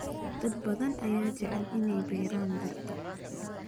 Dad badan ayaa jecel inay beeraan dhirta.